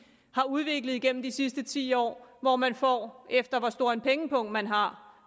har udviklet igennem de sidste ti år hvor man får efter hvor stor en pengepung man har